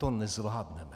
To nezvládneme.